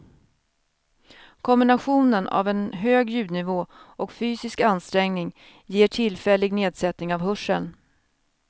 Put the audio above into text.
Kombinationen av en hög ljudnivå och fysisk ansträngning ger tillfällig nedsättning av hörseln.